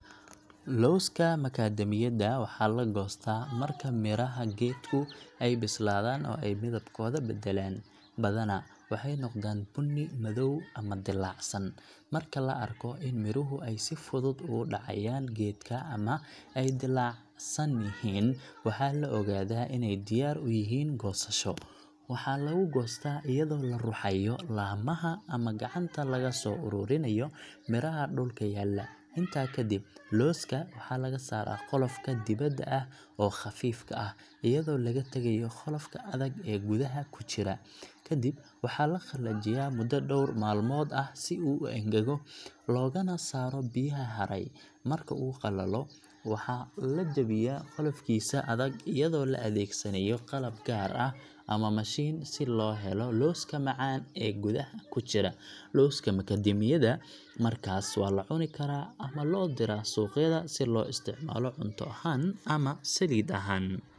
Lawska macadami yada waxaa la goostaa marka miraha geedku ay bislaadaan oo ay midabkooda beddelaan, badanaa waxay noqdaan bunni madow ama dillaacsan. Marka la arko in miruhu ay si fudud uga dhacayaan geedka ama ay dillaacsan yihiin, waxaa la ogaadaa inay diyaar u yihiin goosasho. Waxaa lagu goostaa iyadoo la ruxayo laamaha ama gacanta laga soo ururinayo miraha dhulka yaalla. Intaa kadib, lawska waxaa laga saaraa qolofka dibadda ah oo khafiifka ah, iyadoo laga tagayo qolofka adag ee gudaha ku jira. Kadib waxaa la qalajiyaa muddo dhowr maalmood ah si uu u engego, loogana saaro biyaha haray. Marka uu qalalo, waxaa la jebiyaa qolofkiisa adag iyadoo la adeegsanayo qalab gaar ah ama mashiin si loo helo lawska macaan ee gudaha ku jira. Lawska macadami yada markaas waa la cuni karaa ama loo diraa suuqyada si loo isticmaalo cunto ahaan ama saliid ahaan.